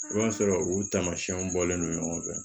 I b'a sɔrɔ u tamasiyɛnw bɔlen no ɲɔgɔn fɛ